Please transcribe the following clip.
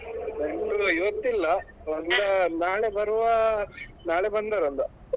ನೆಂಟ್ರು ಇವತ್ತಿಲ್ಲಾ ನಾಳೆ ಬರುವಾ ನಾಳೆ ಬಂದಾರು ಎಲ್ಲಾ.